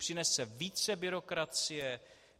Přinese více byrokracie.